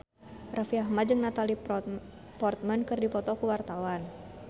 Raffi Ahmad jeung Natalie Portman keur dipoto ku wartawan